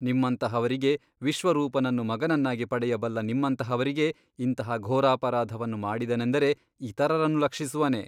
ನಿಮ್ಮಂತಹವರಿಗೆ ವಿಶ್ವರೂಪನನ್ನು ಮಗನನ್ನಾಗಿ ಪಡೆಯಬಲ್ಲ ನಿಮ್ಮಂತಹವರಿಗೆ ಇಂತಹ ಘೋರಾಪರಾಧವನ್ನು ಮಾಡಿದನೆಂದರೆ ಇತರರನ್ನು ಲಕ್ಷಿಸುವನೆ?